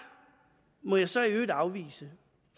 må jeg så i øvrigt afvise